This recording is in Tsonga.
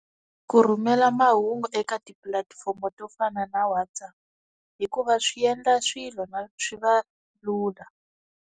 Ku rhumela mahungu eka tipulatifomo to fana na WhatsApp hikuva swi endla swilo na swi va lula.